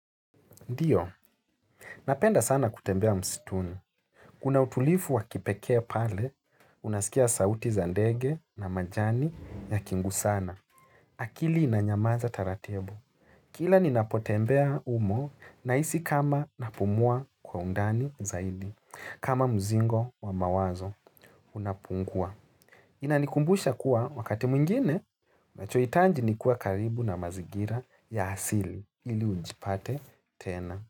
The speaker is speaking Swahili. Ndiyo, napenda sana kutembea msituni. Kuna utulivu wa kipekee pale, unasikia sauti za ndege na majani yakigusana. Akili inanyamaza taratibu. Kila ninapotembea humo nahisi kama napumua kwa undani zaidi. Kama mzigo wa mawazo unapungua. Inanikumbusha kuwa wakati mwingine, unachohitaji ni kuwa karibu na mazingira ya asili ili ujipate tena.